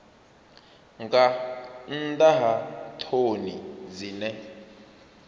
nga nnḓa ha ṱhoni dzine